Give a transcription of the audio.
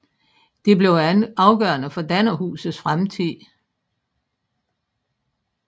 Det blev afgørende for Dannerhuset fremtid